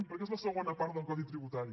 perquè és la segona part del codi tributari